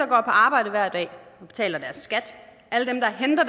på arbejde hver dag og betaler deres skat alle dem der henter